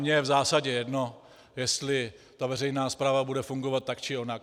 Mně je v zásadě jedno, jestli ta veřejná správa bude fungovat tak či onak.